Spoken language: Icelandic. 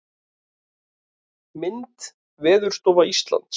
Mynd: Veðurstofa Íslands.